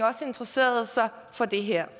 interesserede sig for det her